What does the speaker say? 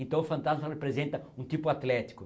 Então o fantasma representa um tipo atlético.